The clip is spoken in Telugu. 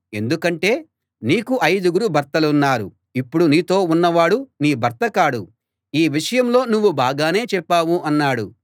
ఎందుకంటే నీకు ఐదుగురు భర్తలున్నారు ఇప్పుడు నీతో ఉన్నవాడు నీ భర్త కాడు ఈ విషయంలో నువ్వు బాగానే చెప్పావు అన్నాడు